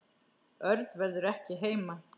Örn verður ekki heima.